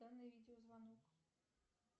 данный видеозвонок